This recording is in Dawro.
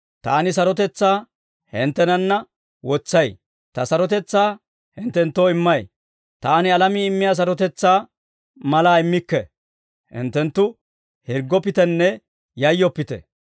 «Taani sarotetsaa hinttenanna wotsay; Ta sarotetsaa hinttenttoo immay. Taani alamii immiyaa sarotetsaa malaa immikke. Hinttenttu hirggoppitenne yayyoppite.